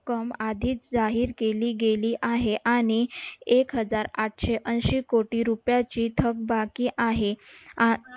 रक्कम आधीच जाहीर केली गेली आहे. आणि एकहजार आठशे एंशी कोटी रुपयाची थकबाकी आहे.